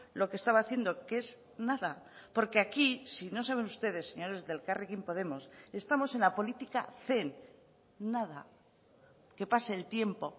lo que estaba haciendo que es nada porque aquí si no saben ustedes señores de elkarrekin podemos estamos en la política zen nada que pase el tiempo